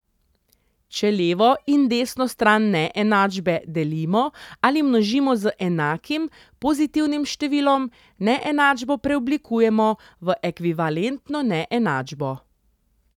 Če levo in desno stran neenačbe delimo ali množimo z enakim, pozitivnim številom, neenačbo preoblikujemo v ekvivalentno neenačbo.